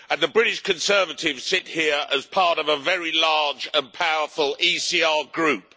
The British Conservatives sit here as part of a very large and powerful ECR Group.